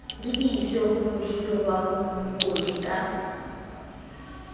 lebiswe ho mohiriwa mokodi ka